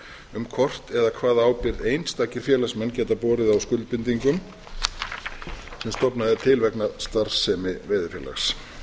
um hvort eða hvaða ábyrgð einstakir félagsmenn geta borið á skuldbindingum sem stofnað er til vegna starfsemi veiðifélags